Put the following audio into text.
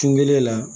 Kun kelen na